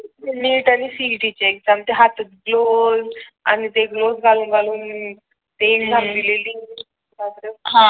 NEET आणि CET ची exam ते हातात ग्लोव्हस आणि ते ग्लोव्हस घालून घालून ते एक्साम दिलेली.